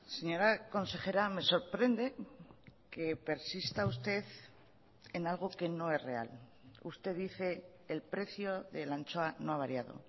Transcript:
señora consejera me sorprende que persista usted en algo que no es real usted dice el precio de la anchoa no ha variado